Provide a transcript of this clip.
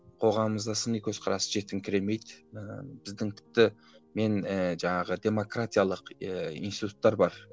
қоғамымызда сыни көзқарас жетіңкіремейді ыыы біздің тіпті мен ііі жаңағы демократиялық ііі институттар бар